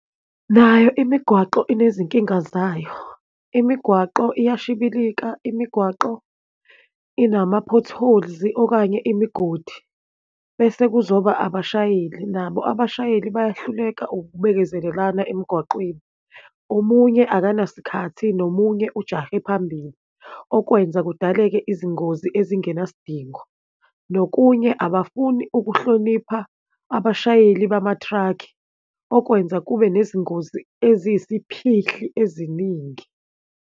Nayo imigwaqo inezikinga zayo. Imigwaqo uyashibilika, imigwaqo inama-potholes, okanye imigodi, bese kuzoba abashayeli nabo. Abashayeli bayahluleka ukubekezelelana emgwaqweni. Omunye akanasikhathi, nomunye ujahe phambili, okwenza kudaleke izingozi ezingenasidingo. Nokunye, abafuni ukuhlonipha abashayeli bama thrakhi, okwenza kube nezingozi eziyisiphihli eziningi.